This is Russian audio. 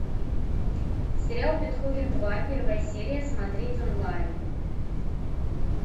сериал бетховен два первая серия смотреть онлайн